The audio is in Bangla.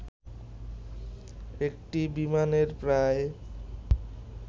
একটি বিমানে প্রায়